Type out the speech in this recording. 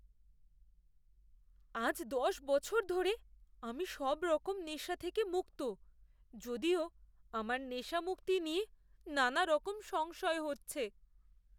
আজ দশ বছর ধরে আমি সবরকম নেশা থেকে মুক্ত, যদিও আমার নেশামুক্তি নিয়ে নানারকম সংশয় হচ্ছে।